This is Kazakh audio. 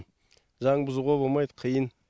заң бұзуға болмайды қиын